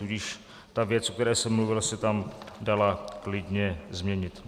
Tudíž ta věc, o které se mluvilo, se tam dala klidně změnit.